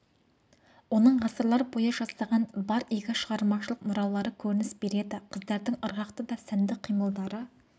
оның ғасырлар бойы жасаған бар игі шығармашылық мұралары көрініс береді қыздардың ырғақты да сәнді қимылдары